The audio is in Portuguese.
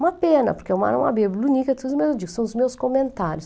Uma pena, porque é uma era uma bíblia, são os meus comentários.